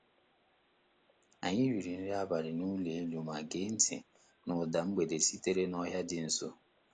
Anyị riri nri abalị n'ụlọ elu ma gee ntị na ụda mgbede sitere n'ọhịa dị nso.